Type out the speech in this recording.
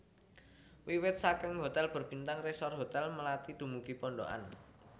Wiwit saking hotel berbintang resor hotel melati dumugi pondokan